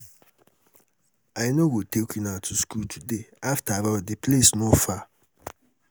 i no go take una to school today afterall the place no far